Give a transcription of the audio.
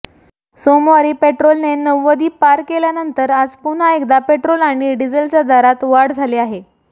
सोमवारी पेट्रोलने नव्वदी पार केल्यानंतर आज पुन्हा एकदा पेट्रोल आणि डिझेलच्या दरात वाढ झाली आहे